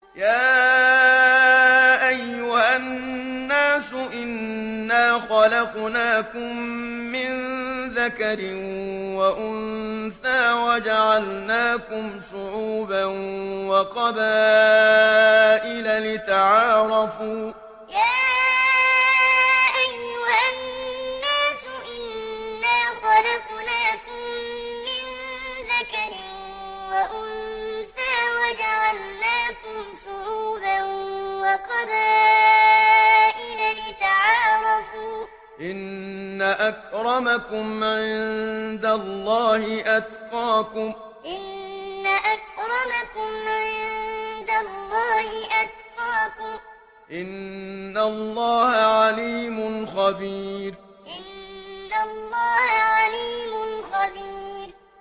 يَا أَيُّهَا النَّاسُ إِنَّا خَلَقْنَاكُم مِّن ذَكَرٍ وَأُنثَىٰ وَجَعَلْنَاكُمْ شُعُوبًا وَقَبَائِلَ لِتَعَارَفُوا ۚ إِنَّ أَكْرَمَكُمْ عِندَ اللَّهِ أَتْقَاكُمْ ۚ إِنَّ اللَّهَ عَلِيمٌ خَبِيرٌ يَا أَيُّهَا النَّاسُ إِنَّا خَلَقْنَاكُم مِّن ذَكَرٍ وَأُنثَىٰ وَجَعَلْنَاكُمْ شُعُوبًا وَقَبَائِلَ لِتَعَارَفُوا ۚ إِنَّ أَكْرَمَكُمْ عِندَ اللَّهِ أَتْقَاكُمْ ۚ إِنَّ اللَّهَ عَلِيمٌ خَبِيرٌ